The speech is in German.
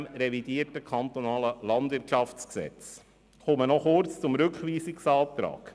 des KLwG. Ich komme noch kurz zum Rückweisungsantrag.